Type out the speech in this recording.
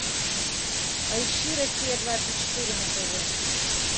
поищи россия двадцать четыре на тв